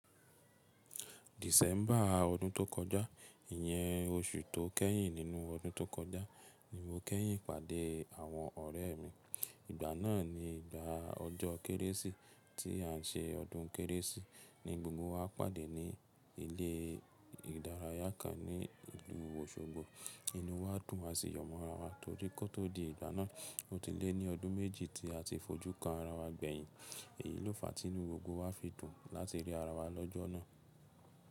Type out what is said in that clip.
December ọdún tó kọjá, ìyẹn oṣù tó kẹ́yìn nínú ọdún tó kọjá ni mo kẹ́yìn pàdé àwọn ọ̀rẹ́ mi. Ìgbà náà ni ìgbà ọjọ́ Kérésì tí à n ṣe ọdún Kérésì ni gbogbo wa pàdé ní ilé ìdárayá kan ní ìlú Òṣogbo. Inú wa dùn àsi yọmọ ara wa torí kó tó di ìgbà náà, ó ti lé ní ọdún méjì tí a ti fojú kan ara wa gbẹ̀yìn. Èyí ló fàá tí inú gbogbo wa fi dùn láti rí ara wa lọ́jọ́ náà.